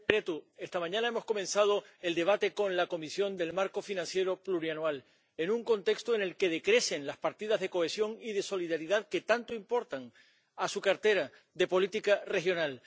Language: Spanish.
Señora presidenta, esta mañana hemos comenzado el debate con la Comisión sobre el marco financiero plurianual, en un contexto en el que decrecen las partidas de cohesión y de solidaridad que tanto importan a su cartera de política regional.